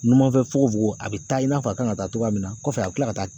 Numanfɛn fukofogogo a bɛ taa i n'a fɔ a kan ka taa mina, kɔfɛ a bɛ tila ka taa.